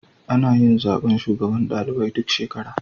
Anayin zaben shugaban ɗalibai duk shekara